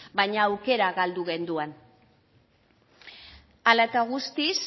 baina aukera galdu genduan hala eta guztiz